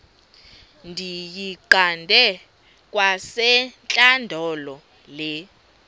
ndiyiqande kwasentlandlolo le